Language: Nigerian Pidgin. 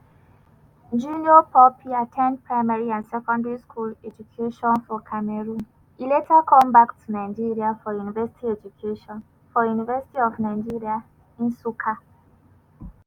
junior pope at ten d primary and secondary school education for cameroon e later come back to nigeria for university education for university of nigeria nsukka.